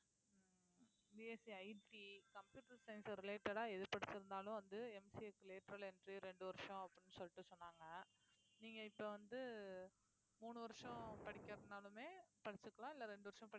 BSCITcomputer science related எது புடிச்சிருந்தாலும் வந்து MCA க்கு latral entry ஆ ரெண்டு வருஷம் அப்படின்னு சொல்லிட்டு சொன்னாங்க நீங்க இப்ப வந்து மூணு வருஷம் படிக்கிறதுனாலுமே படிச்சுக்கலாம் இல்லை ரெண்டு வருஷம்